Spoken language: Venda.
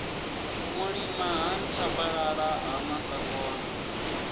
mulima ha nthabalala ha masakona